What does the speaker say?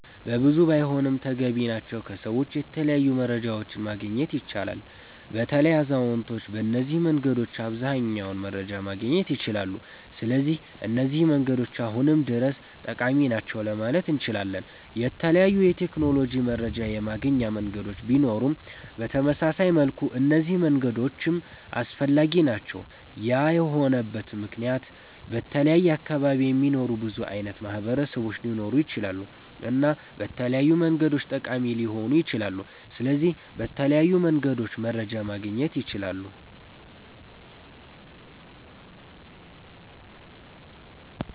በብዙ ባይሆንም ተገቢ ናቸዉ ከሰዎች የተለያዩ መረጃዎችን ማግኘት ይቻላል። በተለይ አዛዉነቶች በነዚህ መንገዶች አብዘሃኛዉን መረጃ ማግኘት ይችላሉ ስለዚህ እነዚህ መንገዶች አሁንም ድረስ ጠቃሚ ናቸዉ ለማለት እነችላለን። የተለያዩ የቴክኖሎጂ መረጃ የማገኛ መንገዶች ቢኖሩም በተመሳሳይ መልኩ እነዚህ መንገዶችም አስፈላጊ ናቸዉ ያ የሆነበት መክንያት በተለያየ አካባቢ የሚኖሩ ብዙ አይነት ማህበረሰቦች ሊኖሩ ይችላሉ እና በተለያዩ መንገዶች ጠቃሚ ሊሆኑ ይችላሉ። ስለዚህ በተለያዩ መንገድ መረጃ ማግኘት ይቻላል